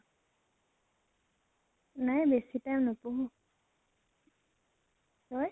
নাই বাছি time নপঢ়ো। তই?